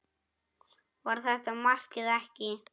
Var þetta mark eða ekki?